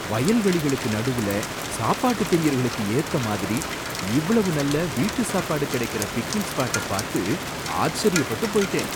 வயல் வெளிகளுக்கு நடுவுல சாப்பாட்டு பிரியர்களுக்கு ஏத்தமாரி இவ்வளவு நல்ல வீட்டு சாப்பாடு கிடைக்கிற பிக்னிக் ஸ்பாடபாத்து ஆச்சரியப்பட்டு போயிட்டேன்!